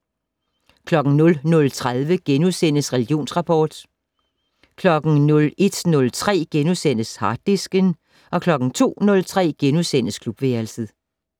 00:30: Religionsrapport * 01:03: Harddisken * 02:03: Klubværelset *